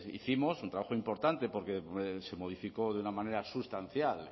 hicimos un trabajo importante porque se modificó de una manera sustancial